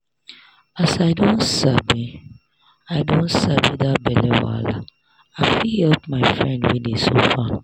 as i don sabi i don sabi that belle wahala i fit help my friend wey dey suffer.